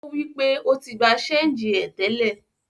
O wi pé o ti gba ṣéngì ẹ tẹ́lẹ̀.